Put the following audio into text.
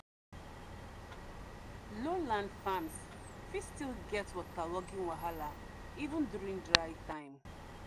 low land farms fit still get waterlogging wahala even during dry time.